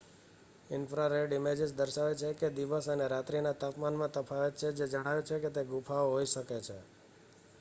infrared images દર્શાવે છે કે દિવસ અને રાત્રી ના તાપમાનમાં તફાવત છે જે જણાવે છે કે તે ગુફાઓ હોય શકે છે